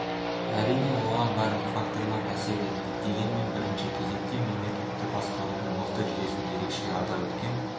әрине оған барлық факторлар әсер етті дегенмен бірінші кезекте мемлекетті басқарудың мықты жүйесін ерекше атап өткен